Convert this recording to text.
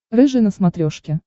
рыжий на смотрешке